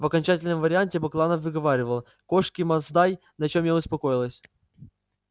в окончательном варианте бакланов выговаривал кошки масдай на чем я и успокоилась